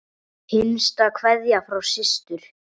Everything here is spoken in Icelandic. Hinsta kveðja frá systur.